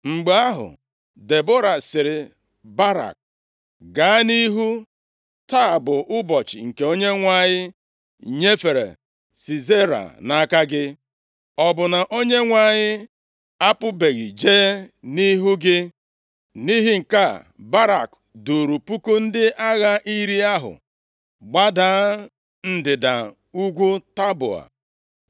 Mgbe ahụ, Debọra sịrị Barak, “Gaa nʼihu! Taa bụ ụbọchị nke Onyenwe anyị nyefere Sisera nʼaka gị. Ọ bụ na Onyenwe anyị apụbeghị jee nʼihu gị?” Nʼihi nke a, Barak duuru puku ndị agha iri ahụ gbada ndịda ugwu Taboa.